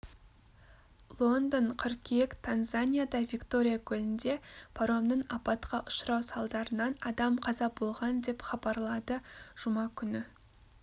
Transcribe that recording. лондон қыркүйек танзанияда виктория көлінде паромның апатқа ұшырау салдарынан адам қаза болған деп хабарлады жұма күні